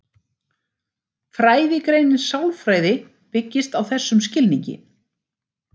Fræðigreinin sálfræði byggist á þessum skilningi.